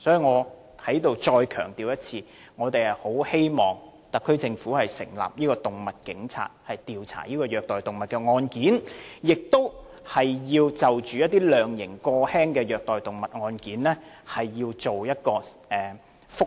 我再次強調，我們很希望特區政府能夠成立"動物警察"，加強調查虐待動物案件，而當局亦應就判刑過輕的虐待動物案件提出覆核。